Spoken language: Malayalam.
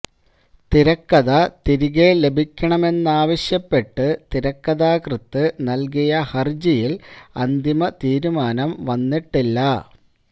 തിരക്കഥ തിരികെ ലഭിക്കണമെന്നാവശ്യപ്പെട്ട് തിരക്കഥാകൃത്ത് നല്കിയ ഹര്ജിയില് അന്തിമ തീരുമാനം വന്നിട്ടില്ല